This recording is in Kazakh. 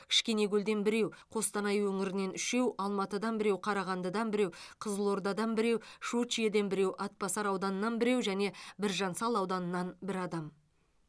кішкенекөлден біреу қостанай өңірінен үшеу алматыдан біреу қарағандыдан біреу қызылордадан біреу щучьеден біреу атбасар ауданынан біреу және біржан сал ауданынан бір адам